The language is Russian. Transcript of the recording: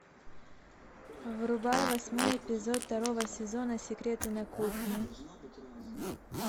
врубай восьмой эпизод второго сезона секреты на кухне